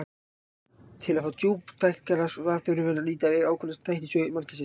Til að fá djúptækara svar þurfum við að líta yfir ákveðna þætti í sögu mannkynsins.